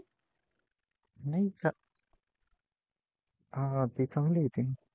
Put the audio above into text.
हा ती चांगली होती